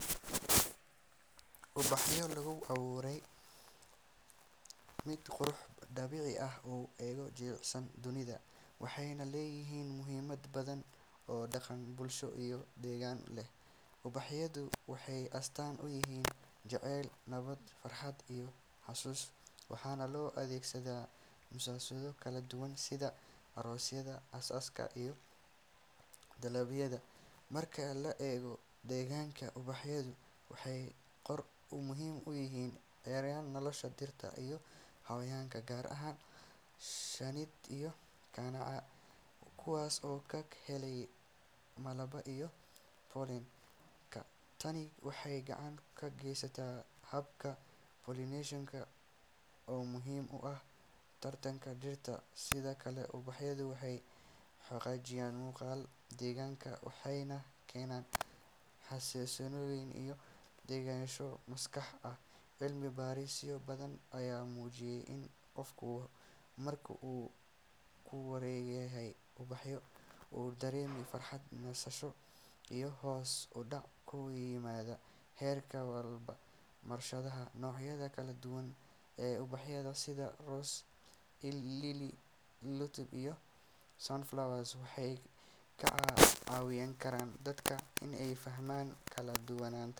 Ubaxu waa mid ka mid ah quruxda dabiiciga ah ee ugu cajiibsan dunida, waxayna leeyihiin muhiimad badan oo dhaqan, bulsho, iyo deegaanba leh. Ubaxyadu waxay astaan u yihiin jacayl, nabad, farxad, iyo xusuus, waxaana loo adeegsadaa munaasabado kala duwan sida aroosyada, aasaska, iyo dabaaldegyada. Marka la eego deegaanka, ubaxyadu waxay door muhiim ah ka ciyaaraan nolosha dhirta iyo xayawaanka, gaar ahaan shinnida iyo kaneecada, kuwaas oo ka helaya malabka iyo pollen-ka. Tani waxay gacan ka geysataa habka pollination-ka oo muhiim u ah taranka dhirta. Sidoo kale, ubaxyadu waxay hagaajiyaan muuqaalka deegaanka waxayna keenaan xasilooni iyo degenaansho maskaxda ah. Cilmi baarisyo badan ayaa muujiyey in qofka marka uu ku wareegsanyahay ubaxyo uu dareemo farxad, nasasho, iyo hoos u dhac ku yimaada heerka walbahaarka. Barashada noocyada kala duwan ee ubaxyada sida rose, lily, tulip, iyo sunflower waxay ka caawin kartaa dadka in ay fahmaan kala duwanaanta dabiiciga.